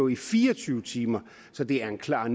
i fire og tyve timer så det er en klar